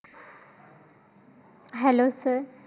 Hellosir